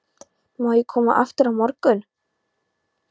Má ég koma aftur á morgun?